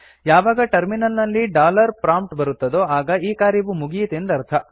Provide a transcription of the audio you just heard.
ಯಾವಾಗ ಟರ್ಮಿನಲ್ ನಲ್ಲಿ dollar prompt ಬರುತ್ತದೋ ಆಗ ಈ ಕಾರ್ಯವು ಮುಗಿಯಿತೆಂದರ್ಥ